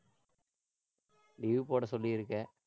leave போட சொல்லியிருக்கேன்.